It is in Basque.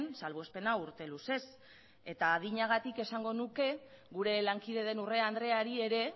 salbuespena urte luzez eta adinagatik esango nuke gure lankide den urrea andreari ere